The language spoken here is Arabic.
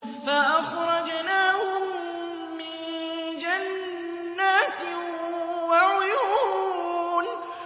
فَأَخْرَجْنَاهُم مِّن جَنَّاتٍ وَعُيُونٍ